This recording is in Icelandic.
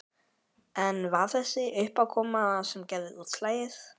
En var það þessi uppákoma sem gerði útslagið?